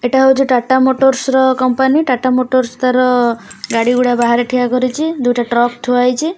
ଏଇଟା ହେଉଛି ଟାଟା ମୋଟରର୍ସ ର କମ୍ପାନୀ ଟାଟା ମୋଟରର୍ସ ତାର ଗାଡ଼ି ଗୁଡ଼ା ବାହାରେ ଠିଆ କରିଛି ଦୁଇଟା ଟ୍ରକ ଥୁଆ ହେଇଛି।